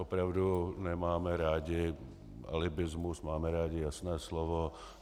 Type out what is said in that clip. Opravdu nemáme rádi alibismus, máme rádi jasné slovo.